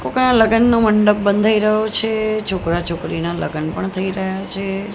કોકના લગનનો મંડપ બંધાઇ રહ્યો છે છોકરા છોકરીના લગન પણ થઇ રહ્યા છે.